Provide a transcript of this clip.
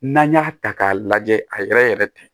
N'an y'a ta k'a lajɛ a yɛrɛ yɛrɛ tɛ